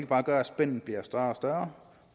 bare gør at spændet bliver større og større